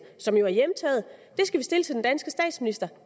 som jo er hjemtaget skal stilles til den danske statsminister